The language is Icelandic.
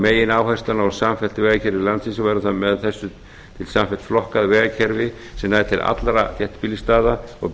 megináherslan á samfellt vegakerfi landsins og verður það með þessu samfellt flokkað vegakerfi sem nær til allra þéttbýlisstaða og